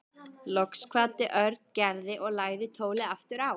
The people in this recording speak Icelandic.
Loks kvaddi Örn Gerði og lagði tólið aftur á.